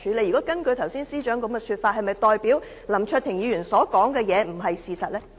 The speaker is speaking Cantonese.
如果根據司長剛才的答覆，是否代表林卓廷議員所說的不是事實呢？